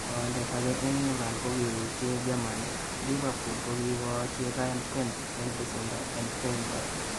Tondeet akee nebo England kokiuuuchi Germany, Liverpool kokikoochi Ryan Kent en besendoo en Freiburg